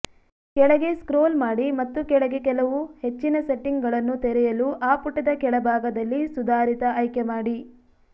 ಕೆಳಗೆ ಸ್ಕ್ರೋಲ್ ಮಾಡಿ ಮತ್ತು ಕೆಳಗೆ ಕೆಲವು ಹೆಚ್ಚಿನ ಸೆಟ್ಟಿಂಗ್ಗಳನ್ನು ತೆರೆಯಲು ಆ ಪುಟದ ಕೆಳಭಾಗದಲ್ಲಿ ಸುಧಾರಿತ ಆಯ್ಕೆಮಾಡಿ